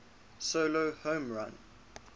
solo home run